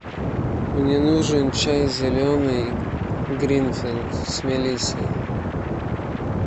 мне нужен чай зеленый гринфилд с мелиссой